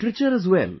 literature as well